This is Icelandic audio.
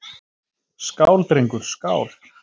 Skál, drengur, skál!